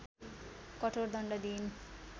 कठोर दण्ड दिइन्